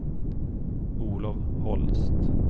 Olof Holst